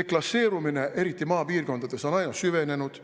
deklasseerumine, eriti maapiirkondades, on aina süvenenud.